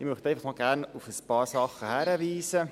Ich möchte gerne noch auf ein paar Sachen hinweisen.